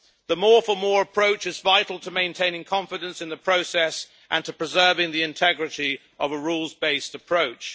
The more for more' approach is vital to maintaining confidence in the process and to preserving the integrity of a rules based approach.